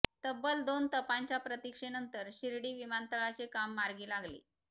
तब्बल दोन तपांच्या प्रतिक्षेनंतर शिर्डी विमानतळाचे काम मार्गी लागले